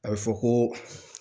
A bɛ fɔ ko